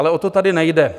Ale o to tady nejde.